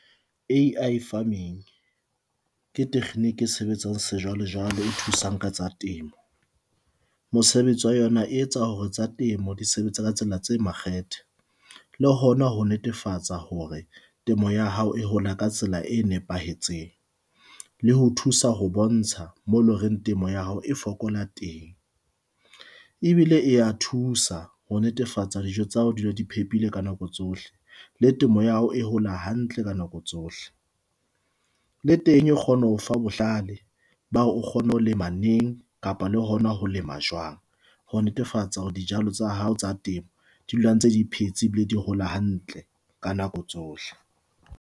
AI farming ke tekgniki e sebetsang sejwale jwale e thusang ka tsa temo. Mosebetsi wa yona e etsa hore tsa temo di sebetse ka tsela tse makgethe, le hona ho netefatsa hore temo ya hao e hola ka tsela e nepahetseng, le ho thusa ho bontsha mo loreng temo ya hao e fokola teng. Ebile e e ya thusa ho netefatsa dijo tsa hao di dula di phephile ka nako tsohle la temo ya hao e hola hantle ka nako tsohle. Le teng e kgone ho fa bohlale ba hore o kgone ho lema neng kapa le hona ho lema jwang. Ho netefatsa hore dijalo tsa hao tsa temo di dula ntse di phetse ebile di hola hantle ka nako tsohle.